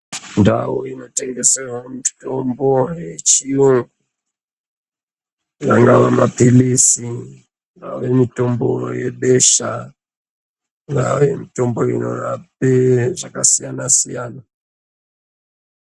Ndau inotengeserwa mutombo yechiyungu kana maphilizi ingava mitombo yebesha, ingava mitombo inorape zvakasiyana siyana ...